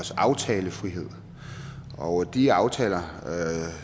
også aftalefrihed og de aftaler